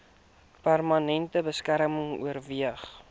permanente beskerming oorweeg